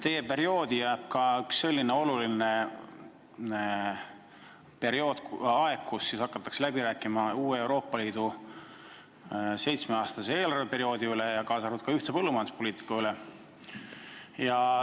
Teie tööperioodi jääb ka selline oluline aeg, kus hakatakse läbi rääkima Euroopa Liidu uue seitsmeaastase eelarveperioodi üle, kaasa arvatud ühise põllumajanduspoliitika üle.